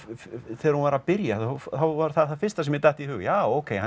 þegar hún var að byrja þá var það það fyrsta sem mér datt í hug já ókei